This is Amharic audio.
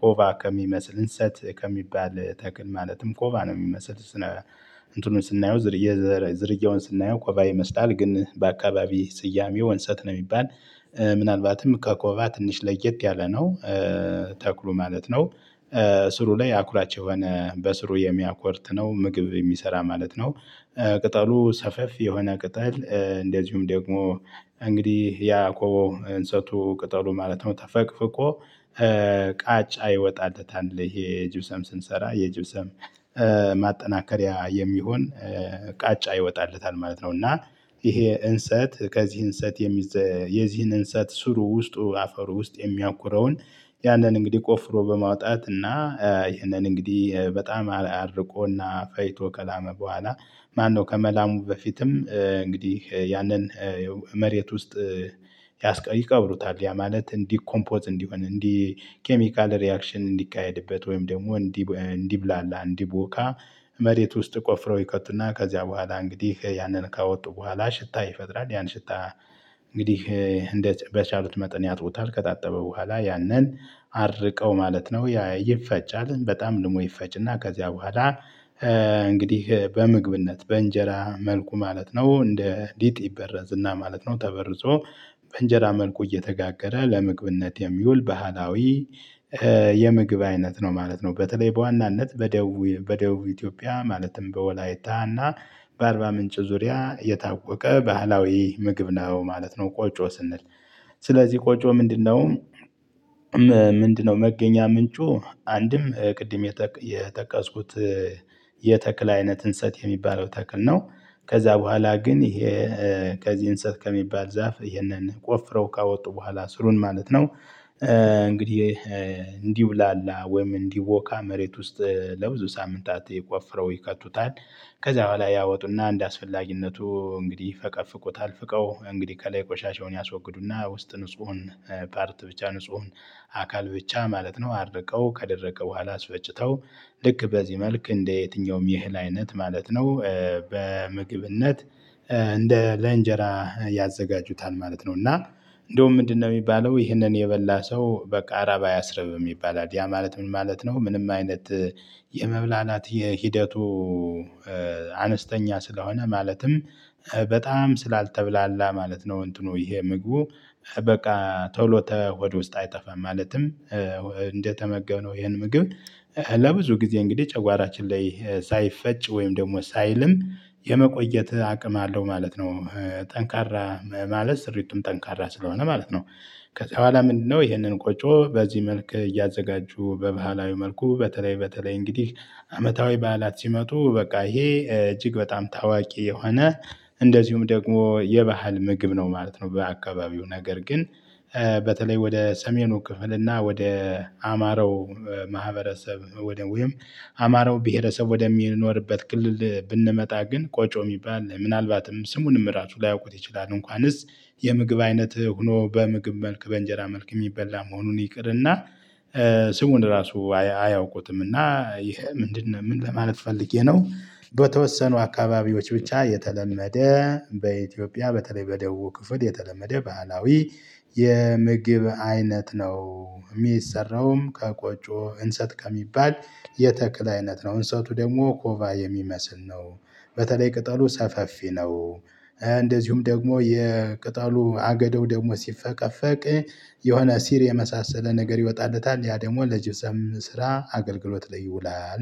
ኮባ ከሚመስል እንሰት ከሚባል ተክል ማለትም ኮባ ነው የሚመስል እንትኑን ስናየው ዝርያውን ስናየው ኮባ ይመስላል ግን በአካባቢ ስያሜው እንሰት ነው የሚባል። ምናልባትም ከኮባ ትንሽ ለየት ያለ ነው። ተክሉ ማለት ነው ስሩ ላይ አኩራች የሆነ በስሩ የሚያኮርት ነው ምግብ የሚሰራ ማለት ነው። ቅጠሉ ሰፋፊ የሆነ ቅጠል እንደዚሁም ደግሞ እንግዲህ ያ ኮባው እንሰቱ ቅጠሉ ማለት ነው ተፈቅፍቆ ቃጫ ይወጣለታል ይሄ ጅብሰም ስንሰራ የጅብሰም ማጠናከሪያ የሚሆን ቃጫ ይወጣለታል ማለት ነው፤ እና ይሄ እንሰት ከዚህ እንሰት የሚዘ የዚህን እንሰት ስሩ ውስጡ አፈሩ ውስጥ የሚያኩረውን ያንን እንግዲህ ቆፍሮ በማውጣት እና ይህንን እንግዲህ በጣም አድርቆና ፈጭቶ ከላመ በኋላ ማነው ከመላሙ በፊትም እንግዲህ ያንን መሬት ውስጥ ያስቀ ይቀብሩታል። ያ ማለት እንዲ ኮምፖዝ እንዲሆን እንዲ ኬሚካል ሪአክሽን እንዲካሄድበት ወይም ደግሞ እንዲ እንዲብላላ እንዲቦካ መሬት ውስጥ ቆፍረው ይከቱና ከዚያ በኋላ እንግዲህ ያንን ካወጡ በኋላ ሽታ ይፈጥራል ያን ሽታ እንግዲህ እንደ በቻሉት መጠን ያጥቡታል። ከታጠበ በኋላ ያንን አድርቀው ማለት ነው ያ ይፈጫል። በጣም ደግሞ ይፈጭና ከዚያ በኋላ እንግዲህ በምግብነት በእንጀራ መልኩ ማለት ነው እንደ ሊጢ ይበረዝ እና ማለት ነው ተበርዞ በእንጀራ መልኩ እየተጋገረ ለምግብነት የሚውል ባህላዊ የምግብ አይነት ነው ማለት ነው። በተለይ በዋናነት በደቡቡ ኢትዮጵያ ማለትም በወላይታ እና በአርባ ምንጭ ዙሪያ የታወቀ ባህላዊ ምግብ ነው ማለት ነው ቆጮ ስንል ስለዚህ ቆጮ ምንድነው ምንድነው መገኛ ምንጩ አንድም ቅድም የጠቀ የጠቀስኩት የተክል አይነት እንሰት የሚባለው ተክል ነው። ከዛ በኋላ ግን ይሄ ከዚህ እንሰት ከሚባል ዛፍ ይሄንን ቆፍረው ካወጡ በኋላ ስሩን ማለት ነው እንግዲህ እንዲብላላ ወይም እንዲቦካ መሬት ውስጥ ለብዙ ሳምንታት ቆፍረው ይከቱታል። ከዚያ በኋላ ያወጡና እንድ አስፈላጊነቱ እንግዲህ ይፈቀፍቁታል። ፍቀው እንግዲህ ከላይ ቆሻሻውን ያስወግዱና ውስጥ ንጹሁን ፓርት ብቻ ንጹሁን አካል ብቻ ማለት ነው አድርቀው ከደረቀ በኋላ አስፈጭተው ልክ በዚህ መልክ እንደ የትኛውም የህል አይነት ማለት ነው በምግብነት እንደ ለእንጀራ ያዘጋጁታል ማለት ነው፤ እና እንደውም ምንድነው የሚባለው ይህንን የበላ ሰው በቃ ረሃባ አያስርብም ይባላል። ያ ማለት ምን ማለት ነው? ምንም አይነት የመብላላት የሂደቱ አነስተኛ ስለሆነ ማለትም በጣም ስላልተብላላ ማለት ነው እንትኑ ይሄ ምግቡ በቃ ቶሎ ተሆድ ውስጥ አይጠፋም። ማለትም እንደተመገብነው ይህን ምግብ ለብዙ ጊዜ እንግዲህ ጨጓራችን ላይ ሳይፈጭ ወይም ደግሞ ሳይልም የመቆየት አቅም አለው ማለት ነው። ጠንካራ ማለት ስሪቱም ጠንካራ ስለሆነ ማለት ነው። ከዛ በኋላ ምንድነው ይህንን ቆጮ በዚህ መልክ እያዘጋጁ በባህላዊ መልኩ በተለይ በተለይ እንግዲህ አመታዊ በዓላት ሲመጡ በቃ ይሄ እጅግ በጣም ታዋቂ የሆነ እንደዚሁም ደግሞ የባህል ምግብ ነው ማለት ነው በአካባቢው፤ ነገር ግን በተለይ ወደ ሰሜኑ ክፍል እና ወደ አማራው ማህበረሰብ ወደ ወይም አማረው ማህበረሰብ ወደሚኖርበት ክልል ብንመጣ ግን ቆጮ የሚባል ምናልባትም ስሙንም ራሱ ላያውቁት ይችላሉ እንኳንስ የምግብ አይነትህ ሆኖ በምግብ መልክ በእንጀራ መልክ የሚበላ መሆኑን ይቅርና ስሙን ራሱ አያ አያውቁትምና ይሄ ምንድነ ምን ለማለት ፈልጌ ነው በተወሰኑ አካባቢዎች ብቻ የተለመደ በኢትዮጵያ በተለይ በደቡብ ክፍል የተለመደ ባህላዊ የምግብ አይነት ነው። የሚሰራውም ከቆጮ እንሰት ከሚባል የተክል አይነት ነው። እንሰቱ ደግሞ ኮባ የሚመስል ነው። በተለይ ቅጠሉ ሰፋፊ ነው። እንደዚሁም ደግሞ የቅጠሉ አገዳው ደግሞ ሲፈቀፈቅ የሆነ ሲር የመሳሰለ ነገር ይወጣለታል ያ ደግሞ ለጅብሰም ስራ አገልግሎት ላይ ይውላል።